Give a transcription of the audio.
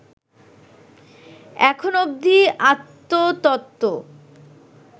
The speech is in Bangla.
এখন অবধি আত্মতত্ত্ব